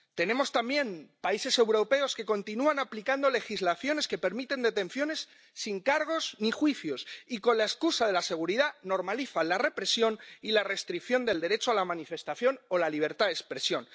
Tenemos también países europeos que continúan aplicando legislaciones que permiten detenciones sin cargos ni juicios y, con la excusa de la seguridad, normalizan la represión y la restricción del derecho a la manifestación o la libertad de expresión.